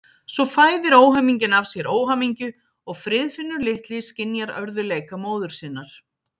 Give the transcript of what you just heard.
Svo fæðir óhamingjan af sér óhamingju og Friðfinnur litli skynjar örðugleika móður sinnar.